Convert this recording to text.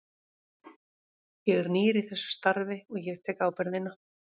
Ég er nýr í þessu starfi og ég tek ábyrgðina.